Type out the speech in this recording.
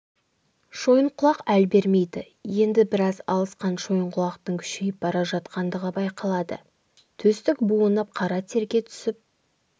шойынқұлақ әл бермейді енді біраз алысқан шойынқұлақтың күшейіп бара жатқандығы байқалады төстік буынып қара терге түсіп